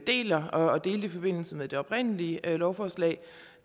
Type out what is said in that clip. deler og delte i forbindelse med det oprindelige lovforslag